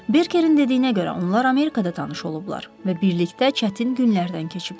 Berkerin dediyinə görə onlar Amerikada tanış olublar və birlikdə çətin günlərdən keçiblər.